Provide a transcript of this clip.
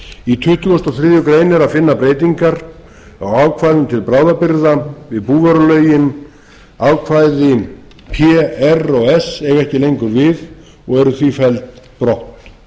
í tuttugasta og þriðju grein er að finna breytingar á ákvæðum til bráðabirgða við búvörulögin ákvæði p r og s eiga ekki lengur við og eru því felld brott